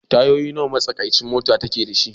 Tayoyin nawa ne matsakaicin mota ke da shi?